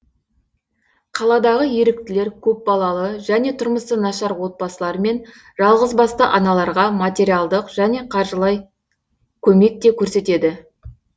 қаладағы еріктілер көпбалалы және тұрмысы нашар отбасылар мен жалғызбасты аналарға материалдық және қаржылай көмек те көрсетеді